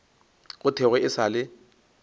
go thwego e sa le